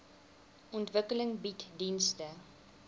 ontwikkeling bied dienste